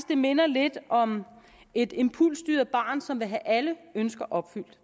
det minder lidt om et impulsstyret barn som vil have alle ønsker opfyldt